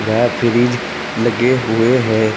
वह फ्रिज लगे हुए हैं।